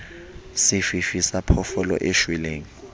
sefifi sa phoofolo e shweleng